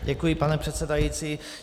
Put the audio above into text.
Děkuji, pane předsedající.